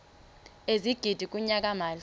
ezigidi kunyaka mali